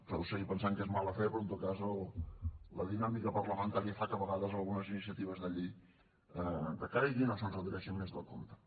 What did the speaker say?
podeu seguir pensant que és mala fe però en tot cas la dinàmica parlamentària fa que a vegades algunes iniciatives de llei decaiguin o s’endarrereixin més del compte